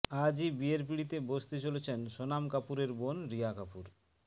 আজই বিয়ের পিঁড়িতে বসতে চলেছেন সোনাম কাপুরের বোন রিয়া কাপুর